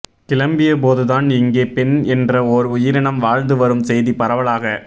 கிளம்பியபோதுதான் இங்கே பெண் என்ற ஓர் உயிரினம் வாழ்ந்து வரும் செய்தி பரவலாக